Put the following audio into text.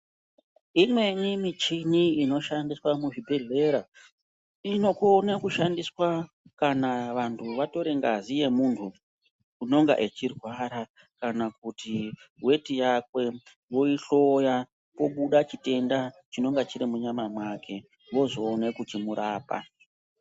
Imweni michini inoshandiswa muzvibhedhlera inokona kushandiswa kana vantu vatora ngazi yemuntu unonga achirwara kana kuti weti yakwe voihloya kobuda chitenda chinenge chiri muropa make vozoona kumuhloya.